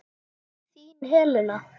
Þín Helena.